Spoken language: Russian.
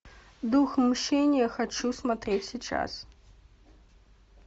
дух мщения хочу смотреть сейчас